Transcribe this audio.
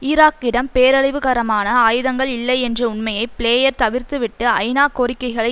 ஈராக்கிடம் பேரழிவுகரமான ஆயுதங்கள் இல்லை என்ற உண்மையை பிளேயர் தவிர்த்துவிட்டு ஐநா கோரிக்கைகளை